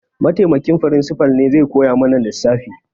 Mataimakin firimsifal ne zai koya mana lissafi